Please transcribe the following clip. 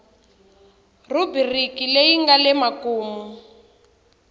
rhubiriki leyi nga le makumu